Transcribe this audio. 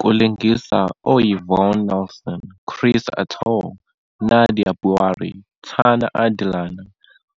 Kulingisa oYvonne Nelson, Chris Attoh, Nadia Buari, Tana Adelana,